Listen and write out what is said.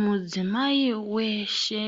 Mudzimai weshe